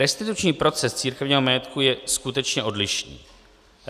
Restituční proces církevního majetku je skutečně odlišný.